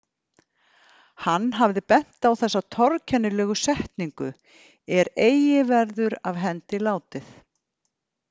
Hann hafði bent á þessa torkennilegu setningu „er eigi verður af hendi látið“.